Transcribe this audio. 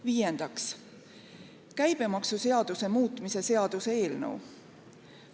Viiendaks, käibemaksuseaduse muutmise seaduse eelnõu.